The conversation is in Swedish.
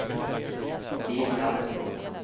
lilla